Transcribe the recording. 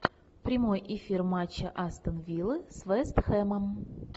прямой эфир матча астон виллы с вест хэмом